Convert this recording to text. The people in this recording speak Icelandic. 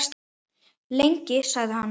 Lengi? sagði hann.